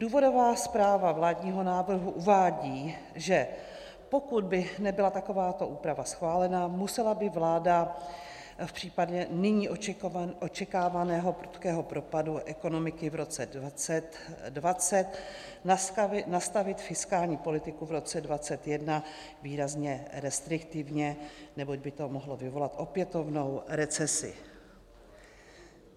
Důvodová zpráva vládního návrhu uvádí, že pokud by nebyla takováto úprava schválena, musela by vláda v případě nyní očekávaného prudkého propadu ekonomiky v roce 2020 nastavit fiskální politiku v roce 2021 výrazně restriktivně, neboť by to mohlo vyvolat opětovnou recesi.